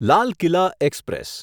Lal Qila express